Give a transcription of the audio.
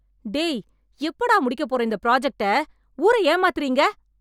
டேய். எப்படா முடிக்கப்போற இந்த ப்ரொஜெக்ட? ஊர ஏமாத்தறீங்க‌